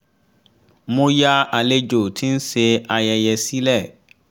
mo yà àlejò tí ń ṣe ayẹyẹ sílẹ̀